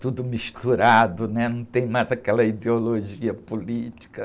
tudo misturado, né? Não tem mais aquela ideologia política.